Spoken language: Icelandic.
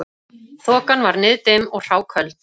Þokan var niðdimm og hráköld